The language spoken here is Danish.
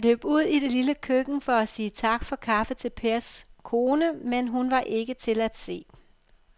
Han løb ud i det lille køkken for at sige tak for kaffe til Pers kone, men hun var ikke til at se.